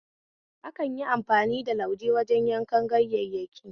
Akanyi amfani da lauje wajen yankar ganyayyaki